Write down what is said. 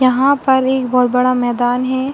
यहाँ पर एक बोहोत बड़ा मैदान हें ।